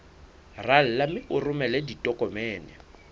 rala mme o romele ditokomene